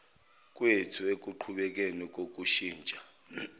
kwethu ekuqhubekeni kokushintsha